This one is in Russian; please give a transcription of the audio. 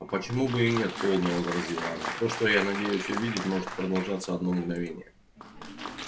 а почему бы и нет холодно возразила она то что я надеюсь увидеть может продолжаться одно мгновение